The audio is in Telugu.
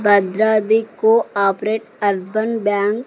Bhadradri cooperative urban bank.